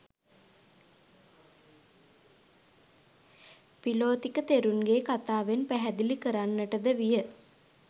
පිළොතික තෙරුන්ගේ කථාවෙන් පැහැදිලි කරන්නට ද විය.